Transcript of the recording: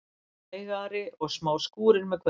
Hægari og smá skúrir með kvöldinu